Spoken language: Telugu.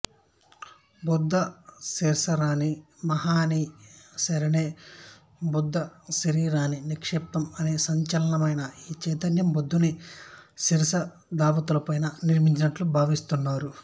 బుద్ధ శరీరాణి మహానీయాని శర్మణే బుద్ధశరీరాణి నిక్షేప్తుం అనే శాసనాలవలన ఈ చైత్యం బుద్ధుని శరీరధాతువుపైనే నిర్మించబడినట్లు భావిస్తున్నారు